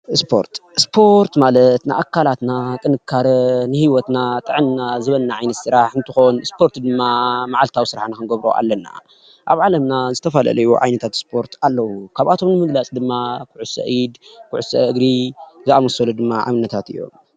እስፖርት፡-እስፖርት ማለት ንኣካላትና ጥንካሬ ንሂወትና ጥዕና ዝህበና ዓይነት ስራሕ እንትከውን እስፖርት ድማ ማዓልታዊ ስራሕ ክንገብሮ ኣለና፡፡ ኣብ ዓለምና ዝተፈላለዩ ዓይነታት ዝስፖርት ኣለዉ፡፡ ካብኣቶም ንምግላፅ ድማ ኩዕሶ ኢድ፣ ኩዕሶ እግሪ ዝኣምሰሉ ድማ ኣብነታት እዮም፡፡